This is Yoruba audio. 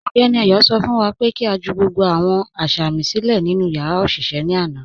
Ọgbẹní Ayọ̀ sọ fún wá pé kí a jù gbogbo awọn asámì silẹ̀ nínu yàrá oṣiṣẹ̀ ní àna.